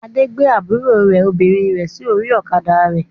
Adé gbé àbúrò obìnrin rẹ̀ sórí ọ̀kadà rẹ̀.